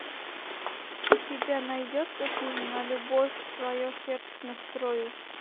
у тебя найдется фильм на любовь свое сердце настрою